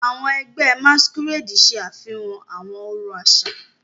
Àwọn ẹgbẹ́ Masquerade ṣe àfihàn àwọn ọ̀rọ̀ àṣà.